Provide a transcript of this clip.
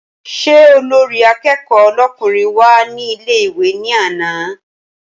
Ṣé olórí akẹ́kọ̀ọ́ lọ́kùnrin wá ní ilé ìwé ní àná?